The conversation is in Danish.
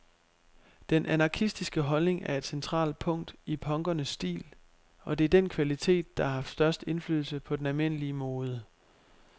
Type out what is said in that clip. Den anarkistiske holdning er et centralt punkt i punkernes stil, og det er den kvalitet, der har haft størst indflydelse på den almindelige mode.